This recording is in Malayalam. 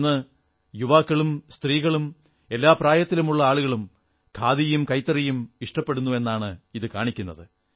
ഇന്ന് യുവാക്കളും സ്ത്രീകളും എല്ലാ പ്രായത്തിലുമുള്ള ആളുകളും ഖാദിയും കൈത്തറിയും ഇഷ്ടപ്പെടുന്നു എന്നാണ് ഇതു കാണിക്കുന്നത്